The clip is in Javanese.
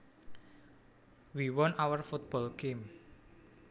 We won our football game